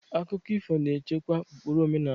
Akụkọ ifo na-echekwa ụkpụrụ omenala.